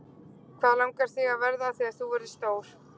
Hvað langar þig að verða þegar þú verður stór?